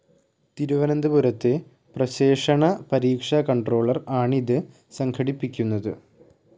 തിരുവനന്തപുരത്തെ പ്രശേഷണ പരീക്ഷ കൺട്രോളർ ആണിത് സംഘടിപ്പിക്കുന്നത്.